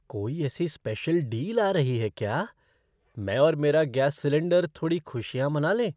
कोई ऐसी special deal आ रही है क्या? मैं और मेरा गैस सिलेन्डर थोड़ी खुशियाँ मना लें!